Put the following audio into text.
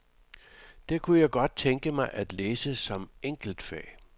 Det kunne jeg godt tænke mig at læse som enkeltfag.